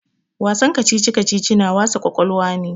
Wasan kacici-kacici na wasa ƙwaƙwalwa ne.